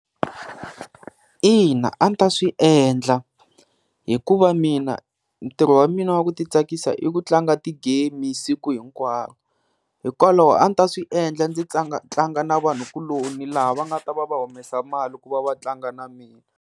Ina a ndzi ta swi endla, hikuva mina ntirho wa mina wa ku ti tsakisa i ku tlanga ti-game siku hinkwaro. Hikwalaho a ndzi ta swi endla ndzi tlanga na vanhu kuloni laha va nga ta va va humesa mali ku va va tlanga na mina.